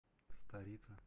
старице